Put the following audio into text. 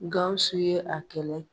Gawusu ye a kɛlɛ